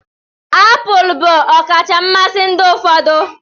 Apụl bụ ọkacha mmasị ndị ụfọdụ